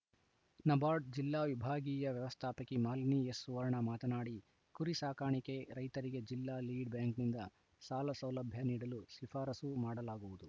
ನಬಾರ್ಡ್‌ ಜಿಲ್ಲಾ ವಿಭಾಗೀಯ ವ್ಯವಸ್ಥಾಪಕಿ ಮಾಲಿನಿ ಎಸ್‌ಸುವರ್ಣ ಮಾತನಾಡಿ ಕುರಿ ಸಾಕಾಣಿಕೆ ರೈತರಿಗೆ ಜಿಲ್ಲಾ ಲೀಡ್‌ಬ್ಯಾಂಕ್‌ನಿಂದ ಸಾಲಸೌಲಭ್ಯ ನೀಡಲು ಶಿಫಾರಸು ಮಾಡಲಾಗುವುದು